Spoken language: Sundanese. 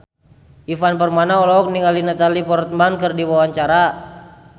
Ivan Permana olohok ningali Natalie Portman keur diwawancara